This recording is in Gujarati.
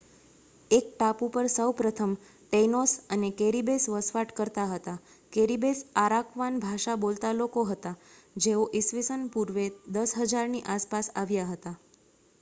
આ ટાપુ પર સૌપ્રથમ ટેઇનોસ અને કેરિબેસ વસવાટ કરતા હતા કેરિબેસ અરાકવાન ભાષા બોલતા લોકો હતા જેઓ ઇ.સ. પૂર્વે 10,000 ની આસપાસ આવ્યા હતા